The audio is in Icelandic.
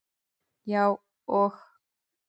Já, og